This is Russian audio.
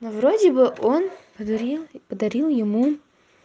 ну вроде бы он подарил подарил ему